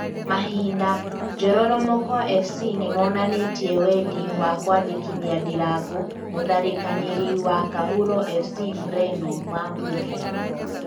(Mahinda) Njororomoko Fc nĩmonanĩtie wendi wa kwandĩkithia Ndirango mũtharĩkanĩri wa Kahuro Fc mreno wa Mbuthia